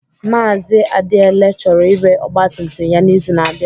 Mazị Adiele chọrọ ire ọgba tum tum ya n'izu na-abịa.